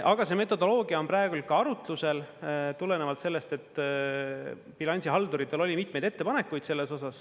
Aga see metodoloogia on praegu arutlusel tulenevalt sellest, et bilansihalduritel oli mitmeid ettepanekuid selles osas.